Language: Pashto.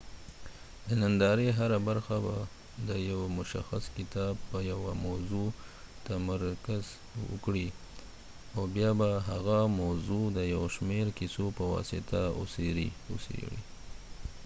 د نندارې هره برخه به د یو مشخص کتاب په یوه موضوع تمرکز وکړي او بیا به هغه موضوع د یو شمیر قصو په واسطه وڅیړي